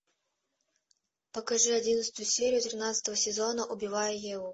покажи одиннадцатую серию тринадцатого сезона убивая еву